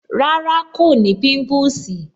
Rárá, kò ní pimpusi